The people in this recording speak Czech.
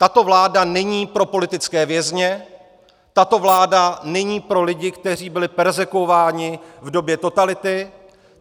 Tato vláda není pro politické vězně, tato vláda není pro lidi, kteří byli perzekvováni v době totality.